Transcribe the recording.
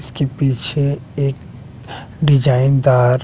इसके पीछे एक डिजाइन दार--